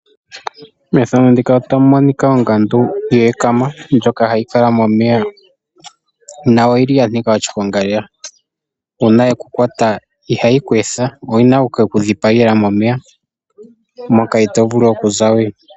Ongandu ndjoka yeekama hayi kala momeya ,nayo oyili yanika oshiponga , uuna yeku kwata ihayi ku etha ,oyina okuke ku dhipagela momeya moka itovulu okuza we.